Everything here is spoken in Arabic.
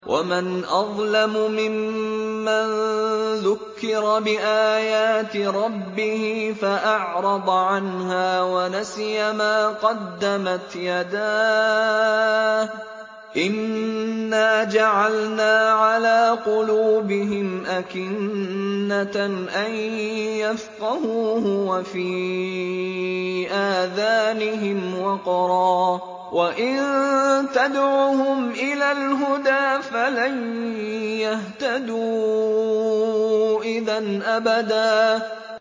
وَمَنْ أَظْلَمُ مِمَّن ذُكِّرَ بِآيَاتِ رَبِّهِ فَأَعْرَضَ عَنْهَا وَنَسِيَ مَا قَدَّمَتْ يَدَاهُ ۚ إِنَّا جَعَلْنَا عَلَىٰ قُلُوبِهِمْ أَكِنَّةً أَن يَفْقَهُوهُ وَفِي آذَانِهِمْ وَقْرًا ۖ وَإِن تَدْعُهُمْ إِلَى الْهُدَىٰ فَلَن يَهْتَدُوا إِذًا أَبَدًا